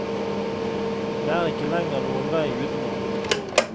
Det er ikke lenger noen vei utenom.